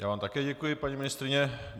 Já vám také děkuji, paní ministryně.